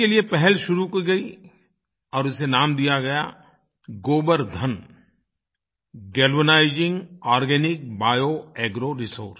इसके लिए पहल शुरू की गई और इसे नाम दिया गया Gobardhan galvanising organic bio agro Resources